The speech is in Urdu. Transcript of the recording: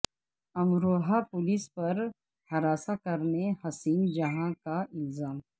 امروہہ پولیس پر ہراساں کرنے حسین جہاں کا الزام